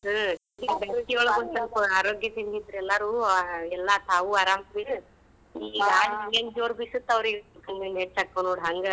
ಹ್ಮ್‌ ಈ ಒಳ್ಗ್ ಒಂದ್ ಸ್ವಲ್ಪ ಆರೋಗ್ಯದಿಂದ್ ಇದ್ರೂ ಎಲ್ಲಾರೂ.